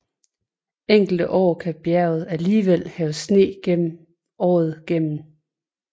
Enkelte år kan bjerget alligevel have sne året gennem